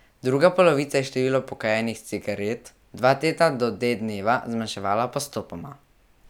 Druga polovica je število pokajenih cigaret dva tedna do D dneva zmanjševala postopoma.